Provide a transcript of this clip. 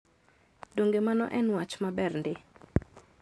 Donge mano en wach maber ndi?